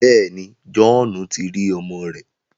Bẹẹni, Johhnu ti ri ọmọ rẹ